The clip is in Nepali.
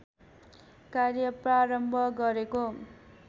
कार्य प्रारम्भ गरेको